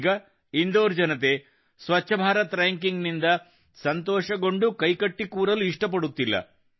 ಈಗ ಇಂದೋರ್ ಜನತೆ ಸ್ವಚ್ಛ ಭಾರತ್ ರಾಂಕಿಂಗ್ ನಿಂದ ಸಂತೋಷಗೊಂಡು ಕೈಕಟ್ಟಿ ಕೂರಲು ಇಷ್ಟಪಡುತ್ತಿಲ್ಲ